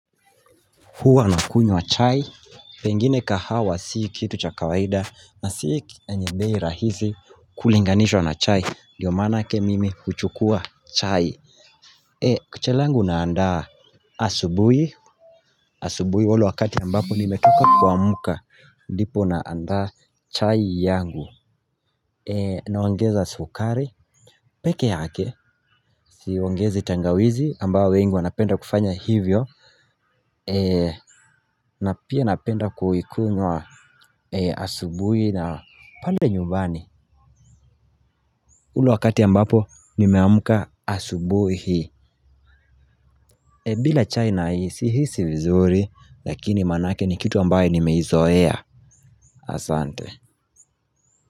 Huwa nakunywa chai, pengine kahawa sii kitu cha kawaida na sii enye bei rahisi kulinganishwa na chai, ndio manake mimi huchukua chai. Eeh, kucha langu naandaa asubuhi, asubuhi ule wakati ambapo nimetoka kuamka, ndipo naandaa chai yangu, naongeza sukari peke yake, siongezi tangawizi ambao wengi wanapenda kufanya hivyo. Na pia napenda kuikunywa asubuhi na pale nyumbani. Ule wakati ambapo nimeamka asubuhi, bila chai sihisi vizuri, lakini manake ni kitu ambaye nimeizoea asante.